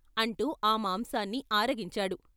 " అంటూ ఆ మాంసాన్ని ఆరగించాడు.